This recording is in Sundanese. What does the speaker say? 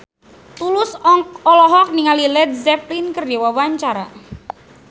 Tulus olohok ningali Led Zeppelin keur diwawancara